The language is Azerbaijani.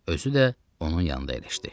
Özü də onun yanında əyləşdi.